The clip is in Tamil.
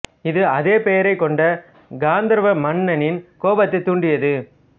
இது அதே பெயரைக் கொண்ட காந்தர்வ மன்னனின் கோபத்தைத் தூண்டியது